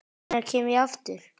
Hvenær kem ég aftur?